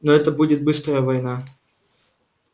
но это будет быстрая война